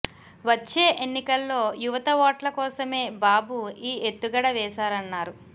వచ్చే ఎన్నికల్లో యువత ఓట్ల కోసమే బాబు ఈ ఎత్తుగడ వేశారన్నారు